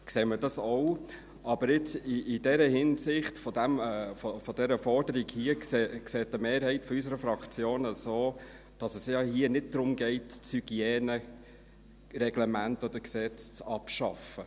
Aber jetzt im Hinblick auf die Forderungen hier, sieht eine Mehrheit unserer Fraktion es so, dass es hier ja nicht darum geht, das Hygienereglement oder -gesetz abzuschaffen.